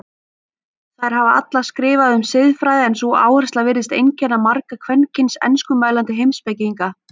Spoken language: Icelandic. Þær hafa allar skrifað um siðfræði en sú áhersla virðist einkenna marga kvenkyns enskumælandi heimspekinga.